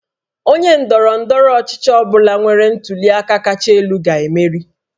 Onye ndọrọ ndọrọ ọchịchị ọ bụla nwere ntuli aka kacha elu ga-emeri